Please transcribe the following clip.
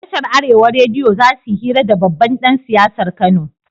Tashar arewa rediyo zasuyi hira da babban dan siyasar kano